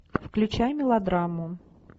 включай мелодраму